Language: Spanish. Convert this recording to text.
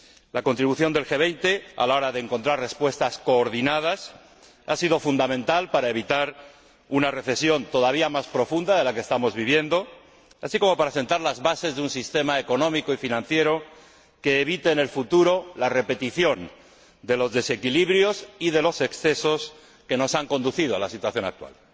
La contribución del G 20 a la hora de encontrar respuestas coordinadas ha sido fundamental para evitar una recesión todavía más profunda de la que estamos viviendo, así como para sentar las bases de un sistema económico y financiero que evite en el futuro la repetición de los desequilibrios y de los excesos que nos han conducido a la situación actual.